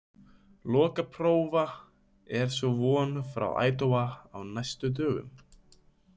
Lokaprófa er svo von frá Idaho á næstu dögum.